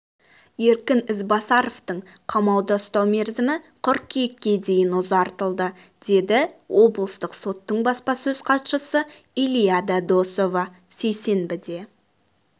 еркін ізбасаровты қамауда ұстау мерзімі қыркүйекке дейін ұзартылды деді облыстық соттың баспасөз хатшысы илиада досова сейсенбіде